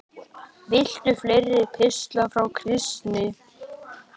Viltu fleiri pistla frá Kristni?